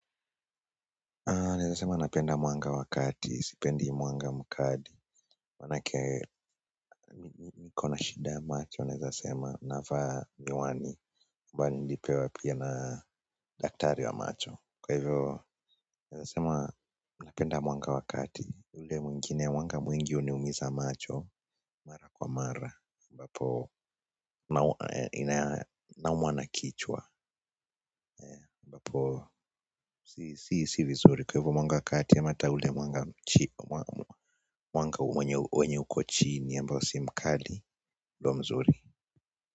Aa naweza sema napenda mwanga wa kati, sipendi mwanga mkali, manake nikona shida ya macho, naweza sema navaa miwani, ambayo nilipewa pia na daktari wa macho. Kwa hivyo, naweza sema napenda mwanga wa kati, ule mwingine mwanga mwingi uniumiza macho na kwa mara, ambapo naumwa na kichwa, ambapo si vizuri. Kwa hivyo mwanga wa kati ama ataule mwanga wenye uko chini ambao si mkali ndo mzuri.